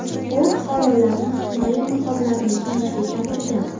U fuqarolarni himoya niqoblarini kiyishga chaqirgan.